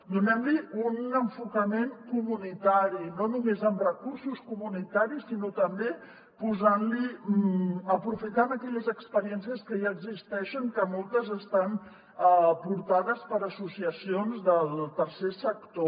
donem li un enfocament comunitari no només amb recursos comunitaris sinó també aprofitant aquelles experiències que ja existeixen que moltes estan portades per associacions del tercer sector